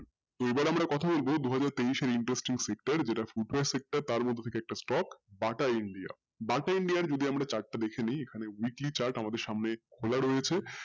এবারে আমরা কথা বলবো দুহাজার তেইশের sector যেটা foot wear sector তার মধ্য থেকে একটা stock BATA India BATA India র যদি আমরা chart টা দেখে নেই এখানে weekly chart আমাদের সামনে খোলা রয়েছে,